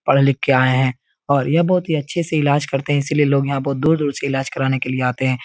पढ़ लिख के आये हैं और ये बोहोत ही अच्छे से इलाज करते हैं। इसीलिए लोग यहाँ बहुत दूर दूर से इलाज कराने के लिए आते हैं।